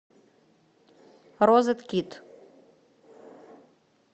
розеткид